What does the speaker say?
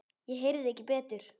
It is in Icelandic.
Ég heyrði ekki betur.